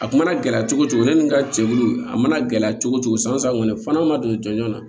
A mana gɛlɛya cogo cogo ne ni n ka cɛkulu a mana gɛlɛya cogo cogo san san kɔni f'an'a ma don ɲɔn na